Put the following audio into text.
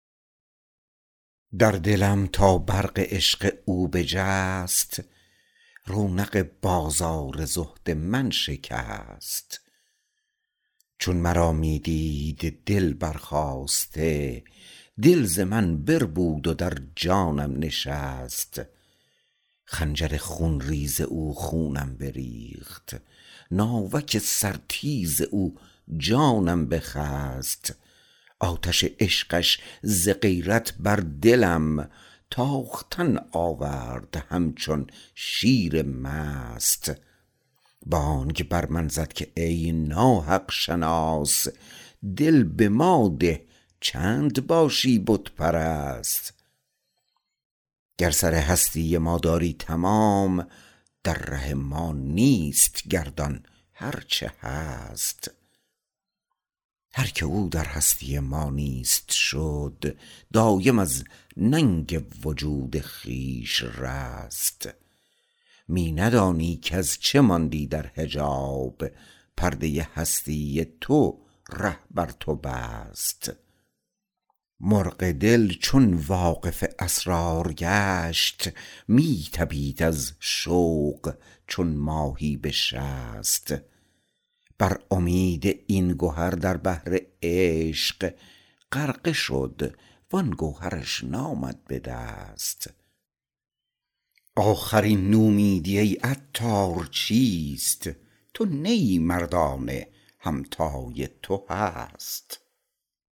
در دلم تا برق عشق او بجست رونق بازار زهد من شکست چون مرا می دید دل برخاسته دل ز من بربود و درجانم نشست خنجر خون ریز او خونم بریخت ناوک سر تیز او جانم بخست آتش عشقش ز غیرت بر دلم تاختن آورد همچون شیر مست بانگ بر من زد که ای ناحق شناس دل به ما ده چند باشی بت پرست گر سر هستی ما داری تمام در ره ما نیست گردان هرچه هست هر که او در هستی ما نیست شد دایم از ننگ وجود خویش رست می ندانی کز چه ماندی در حجاب پرده هستی تو ره بر تو بست مرغ دل چون واقف اسرار گشت می طپید از شوق چون ماهی بشست بر امید این گهر در بحر عشق غرقه شد وان گوهرش نامد به دست آخر این نومیدی ای عطار چیست تو نه ای مردانه همتای تو هست